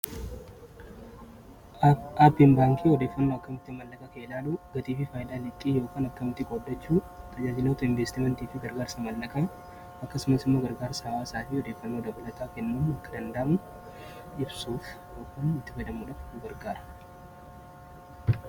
appin baankii odeeffannoo akkamitti mallagaa keelaalu gaxiifii faayilaa liqqii yookan akkamitti qoddachuu tarajaajiloota investimentii wantiifii gargaarsa mallakaan akkasuma summa gargaarsa hawaa isaafii odeeffannoo dabalataa kennan akka dandaamu jibsuuf upan itti gadamudhagargaara